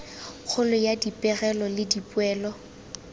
kgolo ya dipegelo le dipoelo